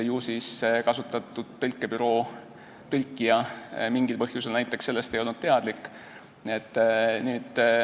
Ju siis kasutatud tõlkebüroo tõlkija ei olnud mingil põhjusel sellest teadlik.